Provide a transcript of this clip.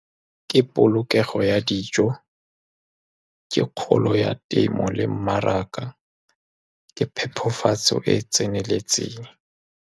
Ke polokego ya dijo, ke kgolo ya temo le mmaraka ke phepafatso e e tseneletseng.